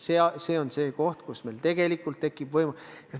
See on see, millega meil tegelikult tekib võimalus.